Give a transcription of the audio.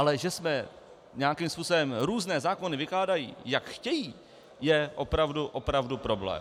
Ale že se nějakým způsobem různé zákony vykládají, jak chtějí, je opravdu problém.